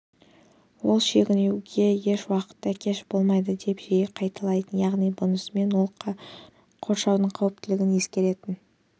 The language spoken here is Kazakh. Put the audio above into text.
ол шегінуге еш уақытта кеш болмайды деп жиі қайталайтын яғни бұнысымен ол қоршаудың қауіптілігін ескеретін